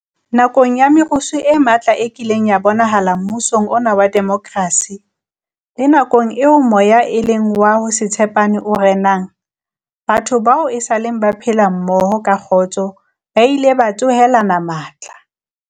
Nakong ya merusu e matla e kileng ya bonahala mmusong ona wa demokrasi, le nakong eo moya e leng wa ho se tshepane o renang, batho bao esaleng ba phela mmoho ka kgotso ba ile ba tsohelana matla.